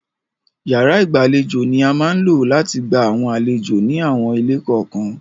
Yàrá ìgbàlejò ni a máa ń lò láti gba àwọn àlejò ni àwọn ilé kọ̀ọ̀kan.